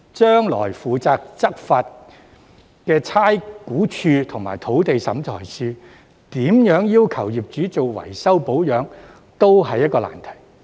將來負責執行的差餉物業估價署及土地審裁處怎樣要求業主進行維修保養，亦是一個難題。